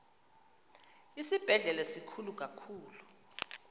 isibhedlele sikhulu kakhulu